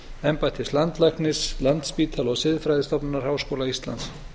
embættis landlæknis landspítala og siðfræðistofnunar háskóla íslands